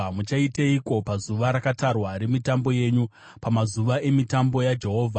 Muchaiteiko pazuva rakatarwa remitambo yenyu, pamazuva emitambo yaJehovha?